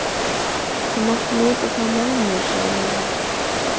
Þú mátt nota þá með mér sagði Lilla.